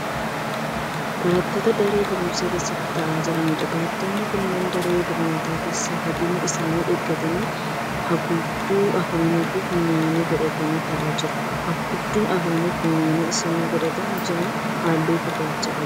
Barattoota daree barumsaa keessa taa'aa jiraniidha. Barattoonni kunneen daree barnootaa keessa fageenya isaanii eeggatanii haguugduu afaanii fi funyaanii godhatanii taa'aa jiru. Haguugduun afaanii fi funyaanii isaan godhatanii jira halluu gurraacha qaba.